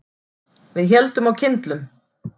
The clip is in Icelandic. Við héldum á kyndlum.